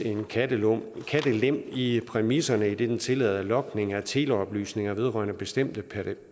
en kattelem i præmisserne idet den tillader logning af teleoplysninger vedrørende bestemte